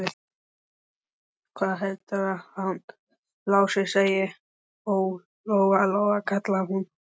Hvað heldurðu að hann Lási segði, ha, Lóa-Lóa, kallaði hún.